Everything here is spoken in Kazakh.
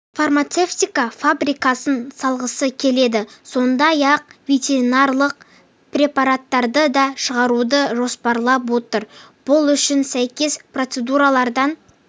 фармацевтика фабрикасын салғысы келеді сондай-ақ ветеринарлық препараттарды да шығаруды жоспарлап отыр бұл үшін сәйкес процедуралардан